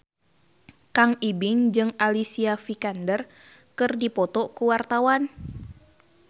Kang Ibing jeung Alicia Vikander keur dipoto ku wartawan